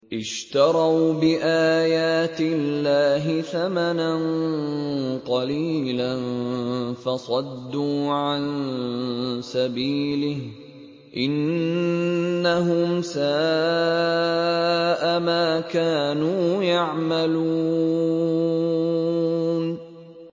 اشْتَرَوْا بِآيَاتِ اللَّهِ ثَمَنًا قَلِيلًا فَصَدُّوا عَن سَبِيلِهِ ۚ إِنَّهُمْ سَاءَ مَا كَانُوا يَعْمَلُونَ